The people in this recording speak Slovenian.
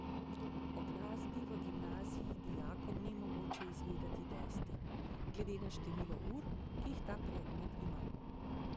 O glasbi v gimnaziji dijakom ni mogoče izvedeti dosti, glede na število ur, ki jih ta predmet ima.